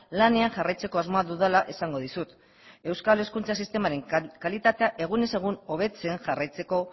lanean jarraitzeko asmoa dudala esango dizut euskal hezkuntza sistemaren kalitatea egunez egun hobetzen jarraitzeko